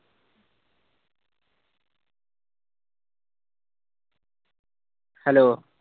Hello